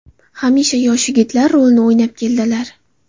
Hamisha yosh yigitlar rolini o‘ynab keldilar.